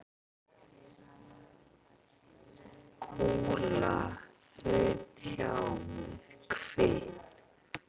Kúla þaut hjá með hvin.